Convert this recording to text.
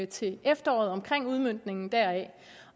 til efteråret om udmøntningen deraf